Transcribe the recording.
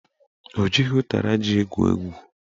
Ọ jighị ụtara ji egwu egwu